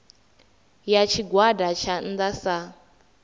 ya tshigwada tsha nnda sa